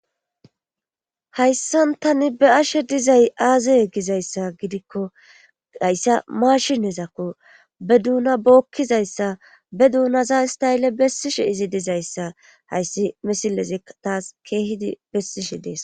hayssan tani be'ashe dizay aazaye gizayssa gidikko hayssa maashinezakko be duuna bookkizayssa be duunaza ista7elle bessishe izi dizayssa hayssi misilezi taas keehidi bessishe dees